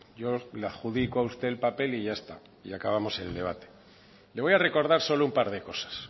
yo le adjudico a usted el papel y ya está acabamos el debate le voy a recordar solo un par de cosas